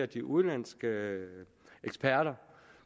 de udenlandske eksperter